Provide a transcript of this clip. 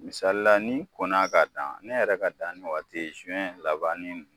Misali la n'i kɔnna k'a dan ne yɛrɛ ka danni wagati ye labannin n